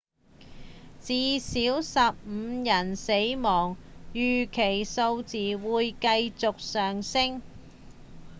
至少15人死亡預期這個數字會繼續上升